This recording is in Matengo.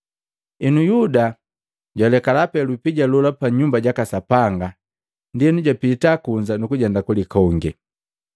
Henu Yuda jwalekala pee lupija lola pa Nyumba jaka Sapanga, ndienu japita kunza nukujenda kulikonge.